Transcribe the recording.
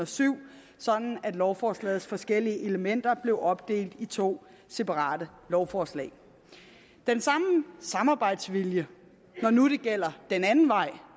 syv sådan at lovforslagets forskellige elementer blev opdelt i to separate lovforslag den samme samarbejdsvilje når nu det gælder den anden vej